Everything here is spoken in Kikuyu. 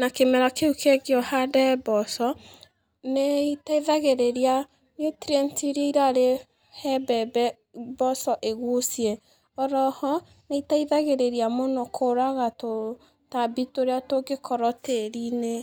na kĩmera kĩu kĩngĩ ũhande mboco, nĩteithagĩrĩria nutrient iria irarĩ he mbembe mboco ĩgucie, oroho, nĩteithagĩrĩria mũno kũraga tũ tambi tũrĩa tũngĩkorwo tĩri-inĩ.